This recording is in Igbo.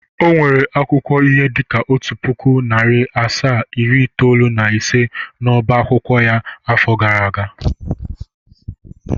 O nwere akwụkwọ ihe dịka otu pụkụ, narị asaa, iri itoolu na ise n'oba akwụkwọ ya n'afọ gara aga.